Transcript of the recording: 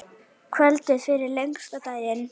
Kvöldið fyrir lengsta daginn.